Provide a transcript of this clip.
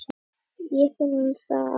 Ég finn það á mér.